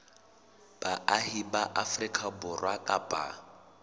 baahi ba afrika borwa kapa